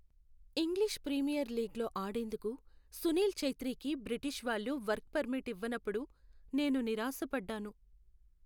English premier లీగ్లో ఆడేందుకు సునీల్ ఛెత్రీకి బ్రిటిష్ వాళ్ళు వర్క్ పర్మిట్ ఇవ్వనప్పుడు నేను నిరాశపడ్డాను.